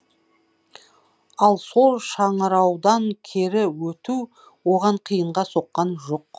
ал сол шыңыраудан кері өту оған қиынға соққан жоқ